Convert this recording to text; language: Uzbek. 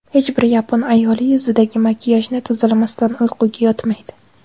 Hech bir yapon ayoli yuzidagi makiyajni tozalamasdan uyquga yotmaydi.